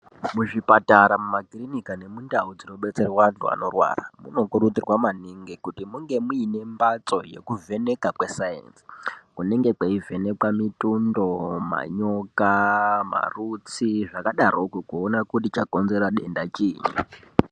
Muzvipatara mumakirinika nemundau dzinobetserwa antu anorwara, munokurudzirwa maningi kuti munge muine mbatso yekuvheneka kwesainzi, kunenge kweivhenekwa mitundo, manyoka, marutsi zvakadaroko, kuona kuti chakonzera denda chiini.